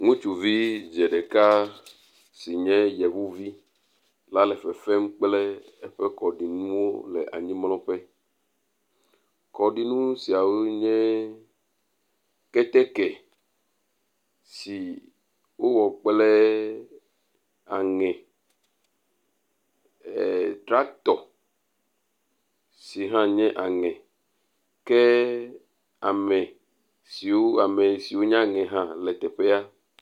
Ŋutsuvi dez ɖeka si nyue yevuvi la le fefem kple eƒe kɔɖinuwo le anyimlɔƒe. Kɔɖinu siawo nye keteke, si wowɔ kple aŋe eee…tractor si hã nye aŋe ke ame siwo,…ame swio nye aŋe hã le teƒea.